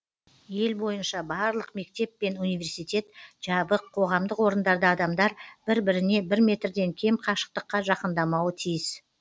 ел бойынша барлық мектеп пен университет жабық қоғамдық орындарда адамдар бір біріне бір метрден кем қашықтыққа жақындамауы тиіс